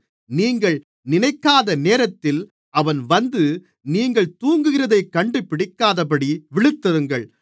நீங்கள் நினைக்காத நேரத்தில் அவன் வந்து நீங்கள் தூங்குகிறதைக் கண்டுபிடிக்காதபடி விழித்திருங்கள்